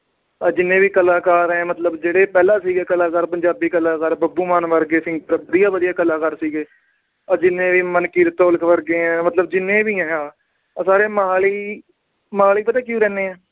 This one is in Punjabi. ਆਹ ਜਿੰਨੇ ਵੀ ਕਲਾਕਾਰ ਏ। ਆ ਮਤਲਬ ਜਿਹੜੇ ਪਹਿਲਾ ਸੀਗੇ ਕਲਾਕਾਰ ਪੰਜਾਬੀ ਕਲਾਕਾਰ ਬੱਬੂ ਮਾਨ ਵਰਗੇ ਸੀ। ਵਧੀਆ ਵਧੀਆ ਕਲਾਕਾਰ ਸੀਗੇ। ਆ ਜਿੰਨੇ ਵੀ ਮਲਕੀਤ ਔਲਖ ਵਰਗੇ, ਮਤਲਬ ਜਿੰਨੇ ਵੀ ਆ। ਆ ਸਾਰੇ ਮੋਹਾਲੀ ਅਹ ਮੋਹਾਲੀ ਪਤਾ ਕਿਉਂ ਰਹਿੰਦੇ ਆ।